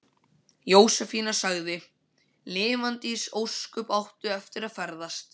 Jósefína sagði: Lifandis ósköp áttu eftir að ferðast.